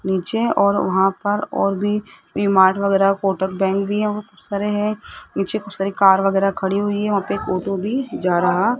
नीचे और वहां पर और भी डीमार्ट वगैरा कोटक बैंक भी हैं और खूब सारे हैं नीचे खूब सारे कार वगैरा खड़ी हुई हैं वहां पे एक ऑटो भी जा रहा --